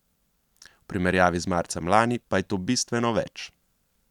V primerjavi z marcem lani pa je to bistveno več.